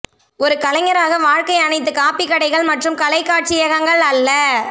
ஒரு கலைஞராக வாழ்க்கை அனைத்து காபி கடைகள் மற்றும் கலை காட்சியகங்கள் அல்ல